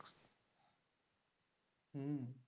হম